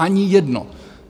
Ani jedno!